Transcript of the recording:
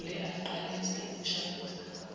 nogule aqalise ukushafuza